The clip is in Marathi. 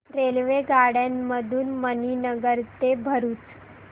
रेल्वेगाड्यां मधून मणीनगर ते भरुच